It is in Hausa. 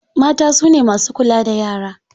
Mata su ne masu kula da yara.